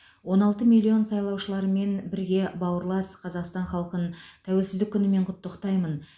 он алты миллион сайлаушыларыммен бірге бауырлас қазақстан халқын тәуелсіздік күнімен құттықтаймын